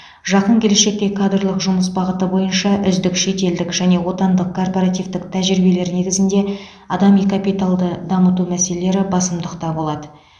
жақын келешекте кадрлық жұмыс бағыты бойынша үздік шетелдік және отандық корпоративтік тәжірибелер негізінде адами капиталды дамыту мәселелері басымдықта болады